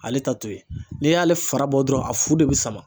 Ale ta to ye n'i y'ale fara bɔ dɔrɔn a fu de bɛ sama